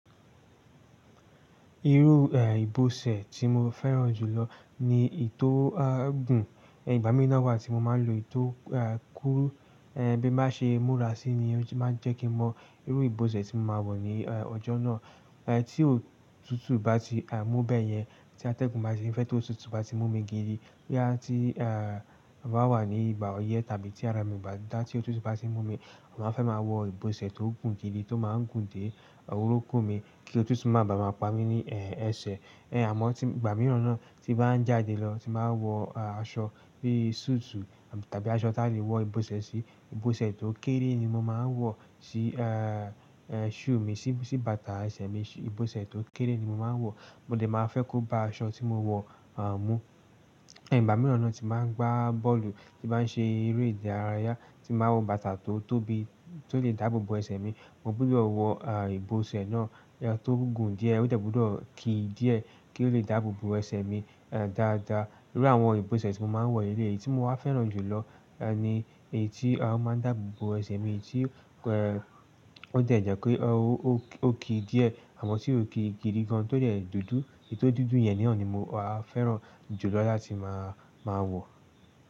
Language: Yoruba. Irú, eh, ìbọ̀sẹ̀ tí mo fẹ́ràn jùlọ ni èyí tó gùn. Ìgbà mííràn wà tí mo máa ń lò èyí tó, eh, kúrú, eh, bí mo bá ṣe múra síi ni ó ti máa ń jẹ́ kí mo mọ irú ìbọ̀sẹ̀ tí mo máa wọ̀ ní, eh, ọjọ́ náà. Eh, tí òtútù bá ti, eh, mú bẹ́ẹ̀ yẹn, tí atẹ́gùn bá ti fẹ́ tó òtútù bá ti mú mi gidi, yàá tí, eh, màá wà ní ìgbà oyẹ tàbí tí ara mi bá dá tí òtútù bá ti mú mi, màá fẹ́ máa wọ ìbọ̀sẹ̀ tó gùn gidi, tó máa ń gùn dé orúnkún mi kí òtútù máa ba mà pa mí ní, eh, ẹsẹ̀. Eh, àmọ́ tí ìgbà mìíràn náà tí bá ń jáde lọ, tí màá wọ, eh, aṣọ bí i súùtù tàbí aṣọ ti a lè wọ ìbọ̀sẹ̀ sí, ìbọ̀sẹ̀ tó kéré ni mo máa ń wọ̀ sí eh shoe, bàtà ẹsẹ̀ mi ìbọ̀sẹ̀ tó kéré ni mo máa wọ̀. Mo dẹ̀ máa fẹ́ kó bá aṣọ tí mo wọ̀, eh, mú. Ẹ̀gbà mìíràn náà tí màá ń gbá bọ́ọ̀lù, tí màá ń ṣe eré ìdárayá, tí màá wọ bàtà tó tóbi, tó lè dáàbò bò ẹsẹ̀ mi, mo gbúdọ̀ wọ, eh, ìbọ̀sẹ̀ náà, eh, tó gùn díẹ̀, ó tẹ̀ gbúdọ̀ kí di ẹ́ kí ó lè dáàbò bò ẹsẹ̀ mi, eh, dáadáa. Irú àwọn ìbọ̀sẹ̀ tí mo máa ń wọ̀ yìí, èyí tí mo máa ń fẹ́ràn jùlọ, eh, ni èyí tí, eh, ó máa ń dáàbò bò ẹsẹ̀ mi, èyí tí, eh, ó jẹ̀ jẹ́ ki ó, ó ki di ẹ́ àmọ́ tí ó ki gidi gan, tó jẹ́ dúdú. Èyí tó dúdú yẹn náà ni mo á fẹ́ràn jùlọ láti máa, máa wọ̀.